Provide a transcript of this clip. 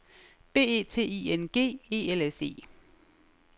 B E T I N G E L S E